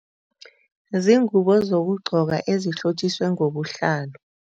Ziingubo zokugqoka ezihlotjiswe ngobuhlalu.